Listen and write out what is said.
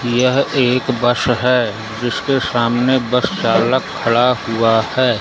यह एक बस है जिसके सामने बस चालक खड़ा हुआ है।